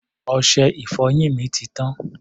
Ọṣẹ-ìfọyín mi ti tán.